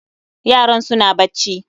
Yaran suna bacci